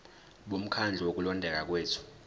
bomkhandlu wokulondeka kwethu